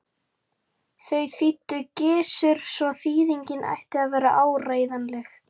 Þau þýddi Gizur svo þýðingin ætti að vera áreiðanleg.